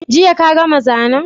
Jiya ka gama zanen?